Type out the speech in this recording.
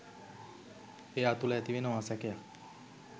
එයා තුළ ඇතිවෙනවා සැකයක්.